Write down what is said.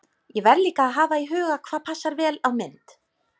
Ég verð líka að hafa í huga hvað passar vel á mynd.